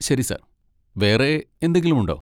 ശരി സർ, വേറെ എന്തെങ്കിലുമുണ്ടോ?